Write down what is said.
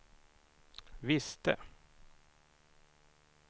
visste